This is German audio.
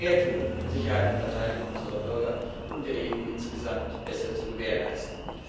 Wir müssen mehr tun, um Sicherheit und Verteidigung unserer Bürger und der EU insgesamt besser zu gewährleisten.